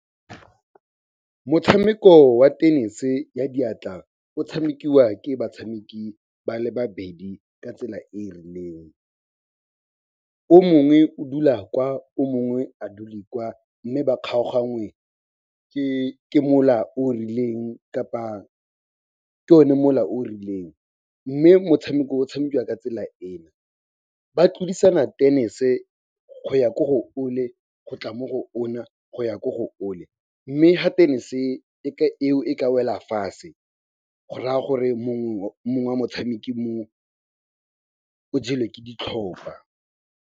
Motshameko wa tenese ya diatla o tshamekiwa ke batshameki ba le babedi ka tsela e e rileng. O mongwe o dula kwa, o mongwe a dule kwa mme ba kgaoganngwe ke mola o rileng kapa ke one mola o rileng. Mme motshameko o tshamekiwa ka tsela ena, ba tlodisana tenese go ya ko go ole, go tla mo go ona, go ya ko go ole, mme fa tenese eo e ka wela fase, go raya gore mongwe wa motshameki mo, o jelwe ke ditlhopa.